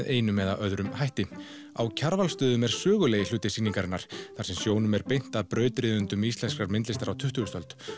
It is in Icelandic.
einum eða öðrum hætti á Kjarvalsstöðum er sögulegur hluti sýningarinnar þar sem sjónum er beint að brautryðjendum íslenskrar myndlistar á tuttugustu öld